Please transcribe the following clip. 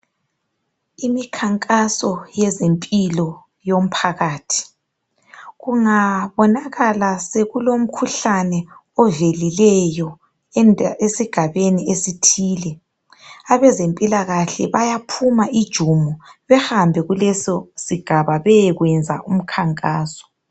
Iminkankaso yezomphilo yomphakathi. Kungabonaka kulo umkhuhlane ovelileyo esigabeni esithile, abezemphikahle bayaphuma ijumo behambe kuleso sigaba beyenza iminkankaso.